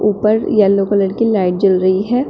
ऊपर yellow colour की light जल रही है।